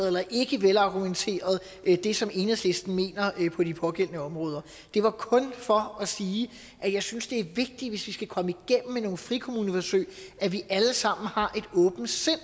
eller ikke velargumenteret det som enhedslisten mener på de pågældende områder det var kun for at sige at jeg synes det er vigtigt hvis vi skal komme igennem med nogle frikommuneforsøg at vi alle sammen har et åbent sind